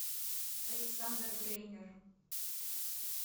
александр грейнер